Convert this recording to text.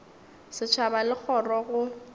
setšhaba le kgoro ya go